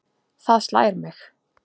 Það slær mig.